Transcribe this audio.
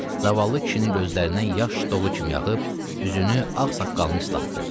Zavallı kişinin gözlərindən yaş dolu kimi yağıb, üzünü ağsaqqalını islatdı.